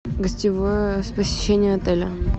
гостевое посещение отеля